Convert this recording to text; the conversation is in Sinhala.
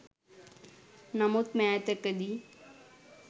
නමුත් මෑතකදී